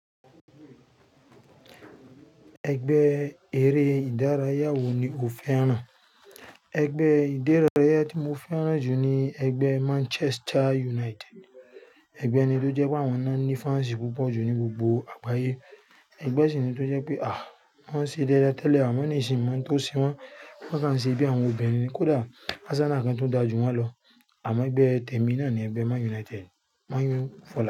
Ẹgbẹ́ eré ìdárayá wo ni o fẹ́ràn? Ẹgbẹ́ ìdárayá tí mo fẹ́ràn jù ni ẹgbẹ́ Manchester United. Ẹgbẹ́ ni tó jẹ́ pé àwọn ná ní fans púpọ̀ jù ní gbogbo àgbáyé. Ẹgbẹ́ sì ni tó jẹ́ pé à wọ́n ṣe déédé tẹ́lẹ̀ àmọ́ ní sì máa ń to se wọ́n, wọ́n sì máa ń ṣe bí àwọn obìnrin kó dà, a sábà nìkan tó ń dájú wọ́n lọ. Àmọ́ ẹgbẹ́ tẹ̀mi náà ni ẹgbẹ́ Man United, Man U fọ̀lá.